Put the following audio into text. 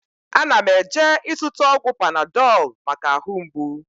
Ana m eje ịzụta ọgwụ Panadọl maka ahụ mgbụ